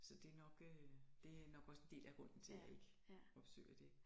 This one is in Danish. Så det nok øh det nok også en del af grunden til jeg ikke opsøger det